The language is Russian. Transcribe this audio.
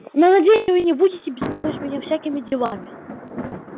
но надеюсь вы не будете беспокоить меня всякими делами